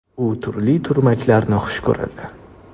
U turli turmaklarni xush ko‘radi.